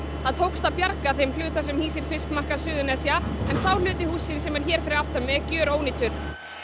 það tókst að bjarga þeim hluta sem hýsir fiskmarkað Suðurnesja en sá hluti hússins sem er hér fyrir aftan mig er gjörónýtur